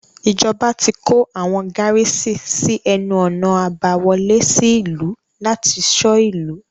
Ìjọba ti kó àwọn gárísì sí ẹnu-ọ̀nà àbá wọlé sí ìlú láti ṣọ́ ìlú.